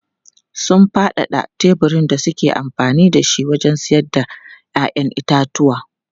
Sun faɗaɗa teburin da suke amfani da shi wajen sayar da 'ya'yan itatuwa.